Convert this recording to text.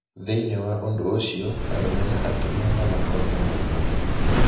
Thĩinĩ wa ũndũ ũcio, arũme na atumia no makorũo na mũrimũ mũna.